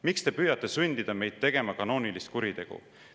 Miks te püüate sundida meid tegema kanoonilist kuritegu?